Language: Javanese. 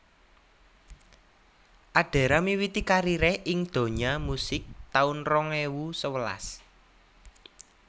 Adera miwiti karieré ing donya musik taun rong ewu sewelas